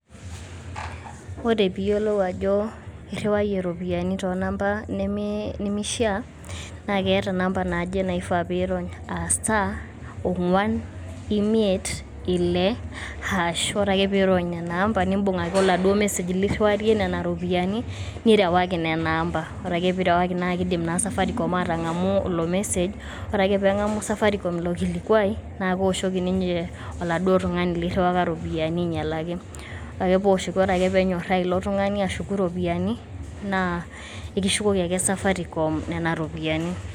Ore pee iyiolou ajo irriwayie irropiyiani too namba nemei nemeishia naa keeta namba naaje naifaa pee irony. Aaa star, ong`uan , imiet, ile hash . Ore ake pee irony nena namba nibung ake oladuo message lirriwarie nena rropiyiani nirewaki nena amba. Ore ake pee irreaki nena amba naa kidim naa safarcom aatang`amu ilo message. Ore ake pee eng`amu safaricom ilo kilikuai naa keoshoki ninche oladuo tung`ani lirriwaka irropiyiani ainyialaki. Ore ake pee ewoshoki, ore ake pee enyoraa ilo tung`ani ashuku nena ropiyiani naa ekishukoki ake safaricom nena ropiyiani.